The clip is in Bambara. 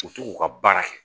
U t'u k'u ka baara kɛ